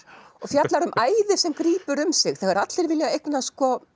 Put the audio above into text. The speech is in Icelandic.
og fjallar um æði sem grípur um sig þegar allir vilja eignast